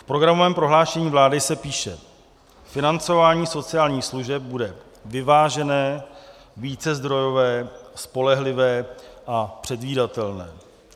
V programovém prohlášení vlády se píše: "Financování sociálních služeb bude vyvážené, vícezdrojové, spolehlivé a předvídatelné."